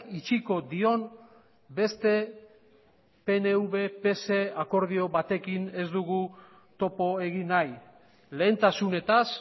itxiko dion beste pnv pse akordio batekin ez dugu topo egin nahi lehentasunetaz